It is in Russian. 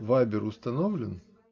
вайбер установлен